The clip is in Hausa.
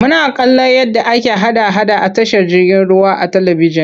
Muna kallon yadda ake hada-hada a tashar jirgin ruwa a talibijin.